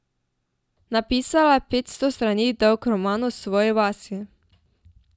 Napisala je petsto strani dolg roman o svoji vasi.